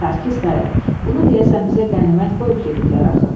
Sarkis dayı, bunu deyəsən bizə qənimət qoyub gediblər axı.